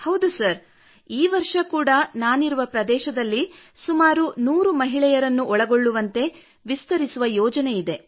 ಹೌದು ಸರ್ ಈ ವರ್ಷ ಕೂಡಾ ನಾನಿರುವ ಪ್ರದೇಶದಲ್ಲಿ ಸುಮಾರು 100 ಮಹಿಳೆಯರನ್ನು ಒಳಗೊಳ್ಳುವಂತೆ ವಿಸ್ತರಿಸುವ ಯೋಜನೆ ಇದೆ